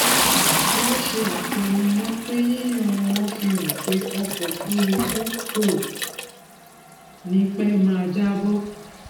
wọn ṣe àtẹnumọ pé yíyan wọn fi hàn pé ọkọ òfúrúfú kò ní pẹ máa jábọ